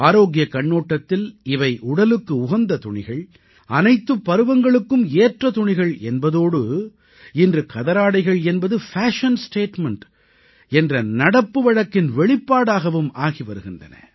ஆரோக்கியக் கண்ணோட்டத்தில் இவை உடலுக்கு உகந்த துணிகள் அனைத்துப் பருவங்களுக்கும் ஏற்ற துணிகள் என்பதோடு இன்று கதராடைகள் என்பது பேஷன் ஸ்டேட்மெண்ட் என்ற நடப்பு வழக்கின் வெளிப்பாடாகவும் ஆகி வருகின்றன